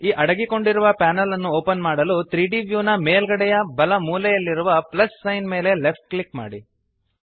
ಈ ಅಡಗಿಕೊಂಡಿರುವ ಪ್ಯಾನೆಲ್ ಅನ್ನು ಓಪನ್ ಮಾಡಲು 3ದ್ ವ್ಯೂ ನ ಮೇಲ್ಗಡೆಯ ಬಲ ಮೂಲೆಯಲ್ಲಿರುವ ಪ್ಲಸ್ ಸೈನ್ ಮೇಲೆ ಲೆಫ್ಟ್ ಕ್ಲಿಕ್ ಮಾಡಿ